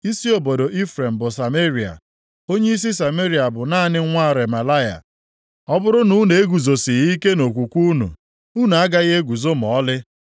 Isi obodo Ifrem bụ Sameria. Onyeisi Sameria bụ naanị nwa Remalaya. Ọ bụrụ na unu eguzosighị ike nʼokwukwe unu, unu agaghị eguzo ma ọlị.’ ”